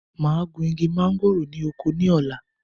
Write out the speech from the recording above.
Máa gun igi mọ̀ngòrò ni oko ni ọ̀la.